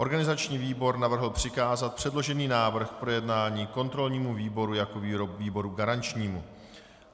Organizační výbor navrhl přikázat předložený návrh k projednání kontrolnímu výboru jako výboru garančnímu.